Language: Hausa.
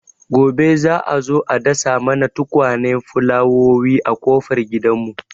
Gobe za'a zo a dasa mana tukwanen fulawowi a ƙofar gidan mu